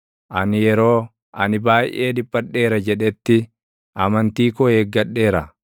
Ani yeroo, “Ani baayʼee dhiphadheera” jedhetti, amantii koo eeggadheera.